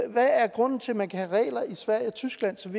grunden til at man kan have regler i sverige og tyskland som